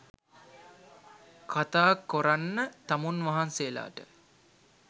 කතා කොරන්න තමුන් වහන්සේලාට